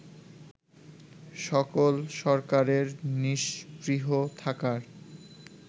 সকল সরকারের নিস্পৃহ থাকার